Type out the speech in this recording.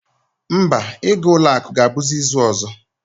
Mba, ịga ụlọakụ ahụ ga-abụzi izu ọzọ